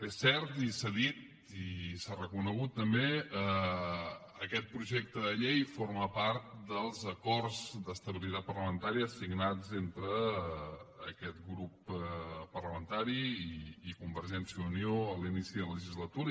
és cert i s’ha dit i s’ha reconegut també aquest projecte de llei forma part dels acords d’estabilitat parlamentària signats entre aquest grup parlamentari i convergència i unió a l’inici de la legislatura